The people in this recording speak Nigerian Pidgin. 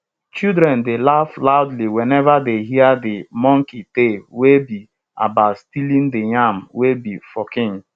children dey laugh loudly whenever dey hear de monkey tale wey be about stealing de yam wey be for king